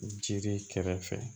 Jiri kɛrɛfɛ